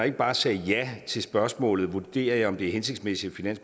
ikke bare sagde ja til spørgsmålet vurderer at det er hensigtsmæssigt at